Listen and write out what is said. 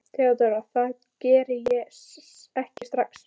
THEODÓRA: Það geri ég ekki strax.